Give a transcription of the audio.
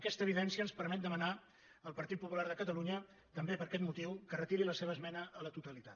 aquesta evidència ens permet demanar al partit popular de catalunya també per aquest motiu que retiri la seva esmena a la totalitat